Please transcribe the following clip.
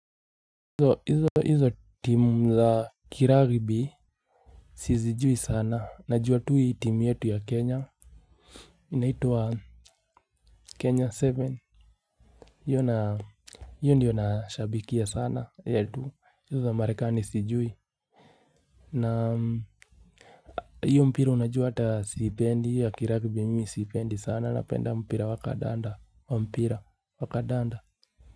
Hizo timu za kiraribi sizijui sana najua tu hii time yetu ya kenya inaitwa kenya seven yu na yu ndiyo nashabikia sana yetu hizo za marekani sijui na iyo mpira unajua ata sipendi ya kiragibi mimi sipendi sana napenda mpira wakadanda wa mpira wakadanda.